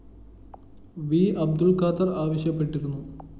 V Abdul‍ Khader‍ ആവശ്യപ്പെട്ടിരുന്നു